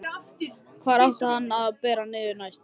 Hvar átti hann að bera niður næst?